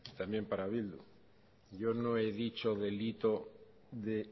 también para bildu yo no he dicho delito de